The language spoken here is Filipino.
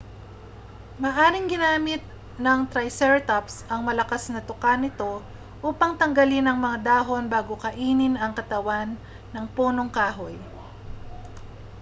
maaaring ginamit ng triceratops ang malakas na tuka nito upang tanggalin ang mga dahon bago kainin ang katawan ng punong kahoy